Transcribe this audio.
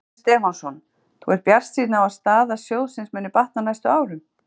Jóhannes Stefánsson: Þú ert bjartsýnn á að staða sjóðsins muni batna á næstu árum?